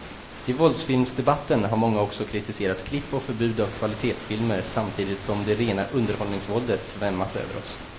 I våldsfilmsdebatten har många också kritiserat klipp och förbud av kvalitetsfilmer samtidigt som det rena underhållningsvåldet svämmat över oss.